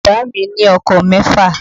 Bàámi ní ọkọ̀ mẹ́fà.